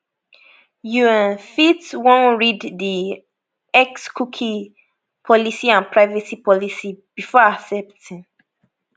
you um fit wan read di xcookie policyandprivacy policybefore accepting